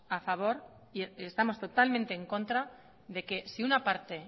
a favor y estamos totalmente en contra de que si una parte